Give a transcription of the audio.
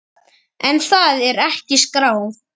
En það er ekki skráð.